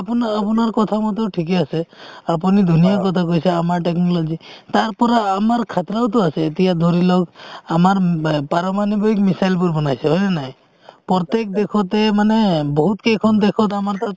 আপোনা~ আপোনাৰ কথামতে ঠিকে আছে আপুনি ধুনীয়া কথা কৈছে আমাৰ technology তাৰপৰা আমাৰ khatra ওতো আছে এতিয়া ধৰিলওক আমাৰ উম ব পাৰমাণৱিক missile বোৰ বনাইছে হয়নে নাই প্ৰত্যেক দেশতে মানে বহুত কেইখন দেশত আমাৰ তাত